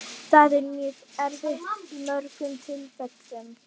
Það er mjög erfitt í mörgum tilfellum.